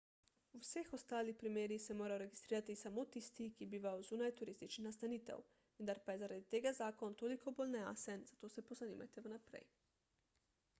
v vseh ostalih primerih se morajo registrirati samo tisti ki bivajo zunaj turističnih nastanitev vendar pa je zaradi tega zakon toliko bolj nejasen zato se pozanimajte vnaprej